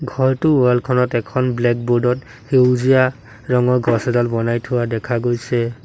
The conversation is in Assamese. ঘৰটোৰ ৱাল খনত এখন ব্লেক বোৰ্ড ত সেউজীয়া ৰঙৰ গছ এডাল বনাই থোৱা দেখা গৈছে।